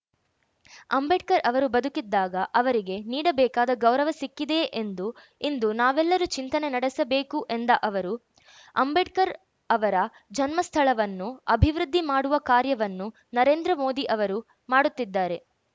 ಅಂಬೇಡ್ಕರ್‌ ಅವರು ಬದುಕಿದ್ದಾಗ ಅವರಿಗೆ ನೀಡಬೇಕಾದ ಗೌರವ ಸಿಕ್ಕಿದೆಯೆ ಎಂದು ಇಂದು ನಾವೆಲ್ಲರು ಚಿಂತಿನೆ ನಡೆಸಬೇಕು ಎಂದ ಅವರು ಅಂಬೇಡ್ಕರ್‌ ಅವರ ಜನ್ಮಸ್ಥಳವನ್ನು ಅಭಿವೃದ್ಧಿ ಮಾಡುವ ಕಾರ್ಯವನ್ನು ನರೇಂದ್ರ ಮೋದಿ ಅವರು ಮಾಡುತ್ತಿದ್ದಾರೆ